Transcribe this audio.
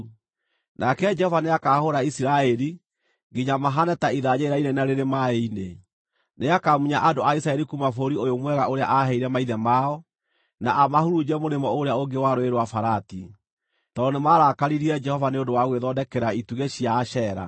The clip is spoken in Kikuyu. Nake Jehova nĩakahũũra Isiraeli, nginya mahaane ta ithanjĩ rĩrainaina rĩrĩ maaĩ-inĩ. Nĩakamunya andũ a Isiraeli kuuma bũrũri ũyũ mwega ũrĩa aaheire maithe mao, na amahurunje mũrĩmo ũrĩa ũngĩ wa Rũũĩ rwa Farati, tondũ nĩmarakaririe Jehova nĩ ũndũ wa gwĩthondekera itugĩ cia Ashera.